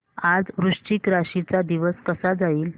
आज वृश्चिक राशी चा दिवस कसा जाईल